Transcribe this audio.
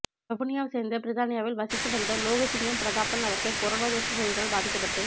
வவுனியாவை சேர்ந்த பிரித்தானியாவில் வசித்து வந்த லோகசிங்கம் பிரதாபன் அவர்கள் கொரோனா தொற்று நோயினால் பாதிக்கபட்டு